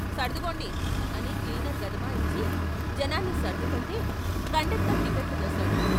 సర్దుగోండి " అని క్లీసర్ గదమాయించి జనాన్ని సర్దుతుంటే కండక్టరు టిక్కట్లు కోశాడు.